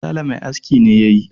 sale Mai aski ne ya yi